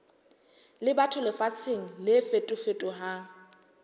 le batho lefatsheng le fetofetohang